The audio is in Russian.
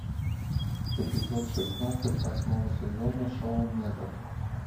эпизод шестнадцать восьмого сезона шоу метод